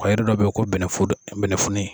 A yiri dɔ bɛ yen ko bɛnɛfoto bɛnɛfunin.